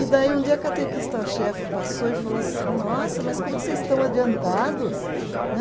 E daí, um dia, a catequista chefe passou e falou assim, nossa, mas como vocês estão adiantados, né?